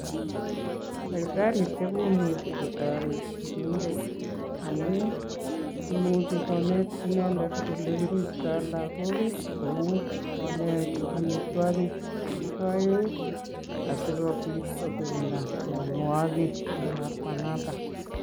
Daktarishek komuchi kotoret sigindet. Amun imuchi konet inendet ole kiribtoi lagok, kou: konet amitwogik che kiboen asi kobit kogirinda mianwogik en lakwanoto.